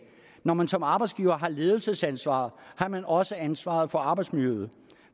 når man som arbejdsgiver har ledelsesansvaret har man også ansvaret for arbejdsmiljøet